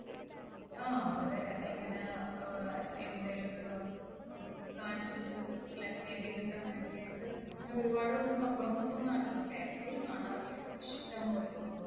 ആഹ് അവരെ ഇങ്ങനെ ഏർ എന്തേലും ഒക്കെ ഇപ്പം കാണിച്ചിട്ട് blackmail ചെയ്തിട്ട് അങ്ങനെയൊക്കെയായിട്ട്. അങ്ങനെ ഒരുപാട് സംഭവങ്ങൾ ഇപ്പൊ നടക്കുന്നു. paper ൽ കാണാറില്ലേ ഇഷ്ടം പോലെ